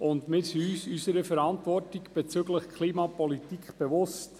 Wir sind uns unserer Verantwortung bezüglich der Klimapolitik bewusst.